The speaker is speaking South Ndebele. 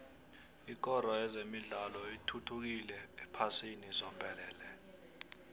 ikoro yezemidlalo ithuthukile ephasini zombelele